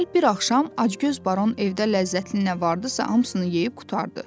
Digər bir axşam Acgöz Baron evdə ləzzətli nə vardısa, hamısını yeyib qurtardı.